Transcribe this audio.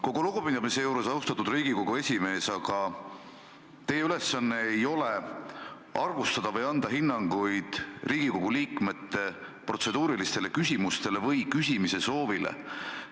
Kogu lugupidamise juures, austatud Riigikogu esimees, ei ole teie ülesanne arvustada Riigikogu liikmete protseduurilisi küsimusi või küsimise soove või anda neile hinnanguid.